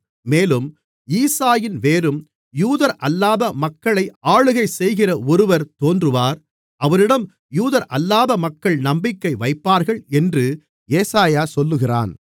மேலும் ஈசாயின் வேரும் யூதரல்லாத மக்களை ஆளுகை செய்கிற ஒருவர் தோன்றுவார் அவரிடம் யூதரல்லாத மக்கள் நம்பிக்கை வைப்பார்கள் என்று ஏசாயா சொல்லுகிறான்